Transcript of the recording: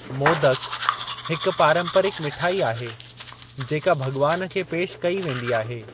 मोदक, हिक पारंपरिक मिठाई आहे जेका भग॒वान खे पेशि कयी वेंदी आहे।